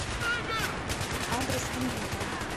адрес мвидео